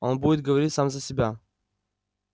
он будет говорить сам за себя